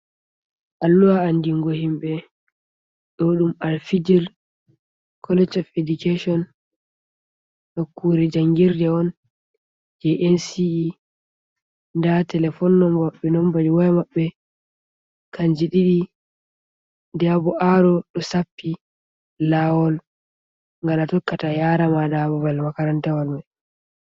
Alluha andingo himɓe ɗo ɗum al-fijir College of Education. Nukkure jangirɗe on je NCE. Nda telephone number waya maɓɓe kanji ɗiɗi, nda bo arrow ɗo sappi lawol ngal atokkata yarama ɗa babal makarantawal mai.